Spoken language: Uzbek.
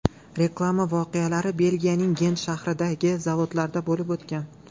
Reklama voqealari Belgiyaning Gent shahridagi zavodda bo‘lib o‘tgan.